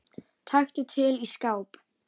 Taktu til í skáp.